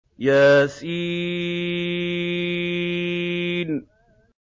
يس